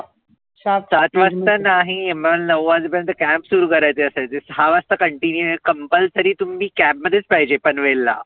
सात वाजता नाही मला नऊ वाजेपर्यंत camp सुरु करायचे असायचे दहा वाजता continuous compulsory तुम्ही camp मध्येच पाहिजे पनवेलला.